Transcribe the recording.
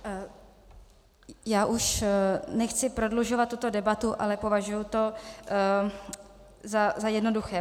Já už nechci prodlužovat tuto debatu, ale považuji to za jednoduché.